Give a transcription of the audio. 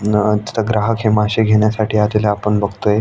न तिथ ग्राहक हे मासे घेण्यासाठी आलेले आपण बघतोय.